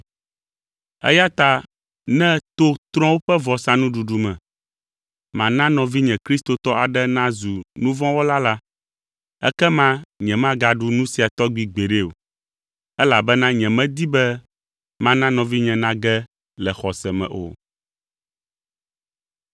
Eya ta ne to trɔ̃wo ƒe vɔsanuɖuɖu me, mana nɔvinye kristotɔ aɖe nazu nu vɔ̃ wɔla la, ekema nyemagaɖu nu sia tɔgbi gbeɖe o, elabena nyemedi be mana nɔvinye nage le xɔse me o.